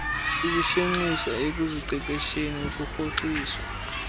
ukushenxiswa ekuziqeqesheni ukurhoxiso